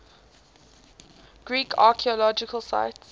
greek archaeological sites